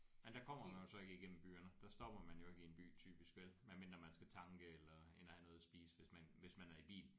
Men der kommer man jo så ikke igennem byerne der stopper man jo ikke i en by typisk vel medmindre man skal tanke eller ind og have noget at spise hvis man hvis man er i bil